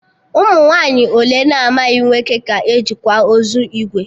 Ụmụ nwaanyị ole na-amaghị nwoke ka e ji kwa ozu ìgwè?